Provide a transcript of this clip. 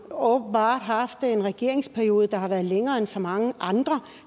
åbenbart haft en regeringsperiode der har været længere end så mange andre